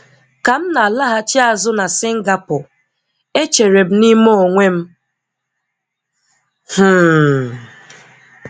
Ka m na-alaghachi azụ na Singapore, e chere m n'ime onwe m, "Hmmm